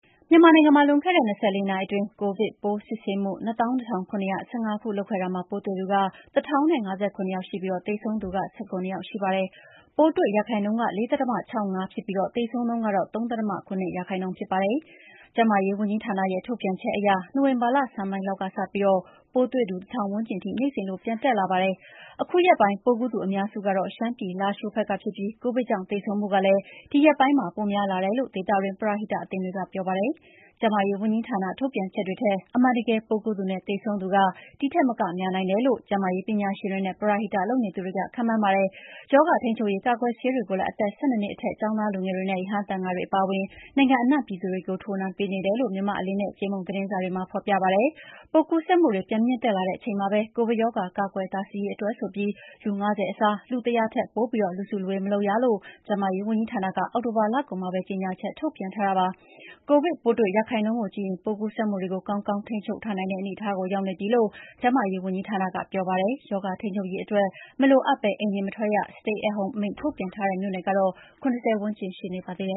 မြန်မာနိုင်ငံမှာ လွန်ခဲ့တဲ့ ၂၄ နာရီအတွင်း ကိုဗစ်ပိုးစစ်ဆေးမှု ၂၂,၇၁၅ ခု လုပ်ခဲ့တာမှာ ပိုးတွေ့သူ၁,၀၅၇ ယောက်ရှိပြီးသေဆုံးသူက ၁၇ ယောက်ရှိပါတယ်။ ပိုးတွေ့ရာခိုင်နှုန်းက ၄.၆၅% ဖြစ်ပြီး သေဆုံးနှုန်းက ၃.၇၂% ဖြစ်ပါတယ်။ ကျန်းမာရေးဝန်ကြီးဌာနရဲ့ထုတ်ပြန်ချက်အရ နိုဝင်ဘာလဆန်းပိုင်းလောက်စကပြီး ပိုးတွေ့ သူ ၁,၀၀၀ ဝန်းကျင်ထိ နေ့စဉ်လိုပြန်တက်လာပါတယ်။ ခုရက်ပိုင်း ပိုးကူးသူအများစုကတော့ ရှမ်းပြည် လားရှိုးဘက်ကဖြစ်ပြီး ကိုဗစ်ကြောင့် သေဆုံးမှုကလည်း ဒီရက်ပိုင်းမှာ ပိုများလာတယ်လို့ ဒေသ ပရဟိတအသင်းတွေက ပြောပါတယ်။ ကျန်းမာရေးဝန်ကြီးဌာန ထုတ်ပြန်ချက်တွေထက် အမှန်တကယ် ပိုးကူးသူနဲ့ သေဆုံးသူက ဒီထက်မကများနိုင်တယ်လို့ ကျန်းမာရေးပညာရှင်တွေနဲ့ ပရဟိတလုပ်နေသူတွေကခန့်မှန်းကြပါတယ်။ ရောဂါထိန်းချုပ်ရေး ကာကွယ်ဆေးတွေကိုလည်း အသက် ၁၂ နှစ်အထက် ကျောင်းသားလူငယ်တွေနဲ့ ရဟန်းသံဃာတွေအပါအဝင် နိုင်ငံအနှံ့ပြည်သူတွေကို ထိုးနှံပေးနေတယ်လို့ မြန်မာ့အလင်းနဲ့ ကြေးမုံသတင်းစာတွေမှာ ဖော်ပြပါတယ်။ ပိုးကူးစက်မှုတွေ ပြန်မြင့်တက်လာတဲ့အချိန်မှာပဲ ကိုဗစ်ရောဂါကာကွယ်တားဆီးရေးအတွက်ဆိုပြီး လူ ၅၀ အစား လူ ၁၀၀ ထက်ပိုပြီး လူစုလူဝေးမလုပ်ရလို့ ကျန်းမာရေးဝန်ကြီးဌာနက အောက်တိုဘာလကုန်မှာပဲ ကြေငြာချက်ထုတ်ပြန်ထားတာပါ။ ကိုဗစ်ပိုးတွေ့ရာခိုင်နှုန်းကိုကြည့်ရင် ပိုးကူးစက်မှုတွေကို ကောင်းကောင်းထိန်းချုပ်ထားနိုင် တဲ့ အနေအထားကို ရောက်နေပြီလို့ ကျန်းမာရေးဝန်ကြီးဌာနက ပြောပါတယ်။ ရောဂါထိန်း ချုပ်ရေးအတွက် မလိုအပ်ဘဲအိမ်ပြင်မထွက် Stat at Home အမိန့်ထုတ်ပြန်ထားတဲ့ မြို့နယ်ကတော့ ၇၀ ဝန်းကျင်ရှိနေပါသေးတ